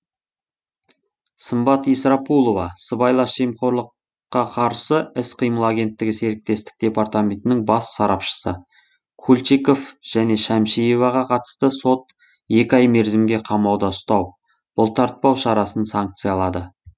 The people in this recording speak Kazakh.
сымбат исрапулова сыбайлас жемқорлыққа қарсы іс қимыл агенттігі серіктестік департаментінің бас сарапшысы кульчиков және шәмшиеваға қатысты сот екі ай мерзімге қамауда ұстау бұлтартпау шарасын санкциялады